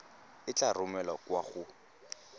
e tla romelwa kwa go